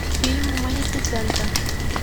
фильм малефисента